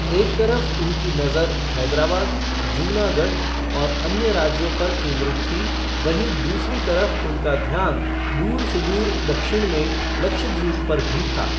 एक तरफ उनकी नज़र हैदराबाद, जूनागढ़ और अन्य राज्यों पर केन्द्रित थी वहीं दूसरी तरफ उनका ध्यान दूर सुदूर दक्षिण में लक्षद्वीप पर भी था।